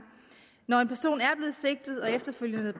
når en person er blevet sigtet og efterfølgende